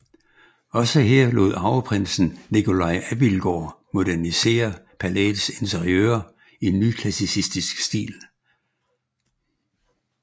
Også her lod arveprinsen Nicolai Abildgaard modernisere palæets interiører i nyklassicistisk stil